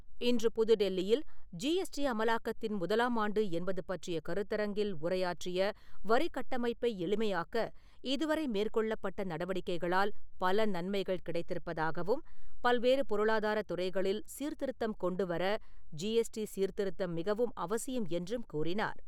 இன்று புது டெல்லியில் ஜிஎஸ்டி அமலாக்கத்தின் முதலாமாண்டு என்பது பற்றிய கருத்தரங்கில் உரையாற்றிய, வரிகட்டமைப்பை எளிமையாக்க இதுவரை மேற்கொள்ளப்பட்ட நடவடிக்கைகளால் பல நன்மைகள் கிடைத்திருப்பதாகவும் பல்வேறு பொருளாதாரத் துறைகளில் சீர்திருத்தம் கொண்டுவர ஜிஎஸ்டி சீர்திருத்தம் மிகவும் அவசியம் என்றும் கூறினார்.